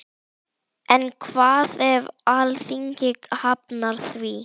En hvað ef Alþingi hafnar því?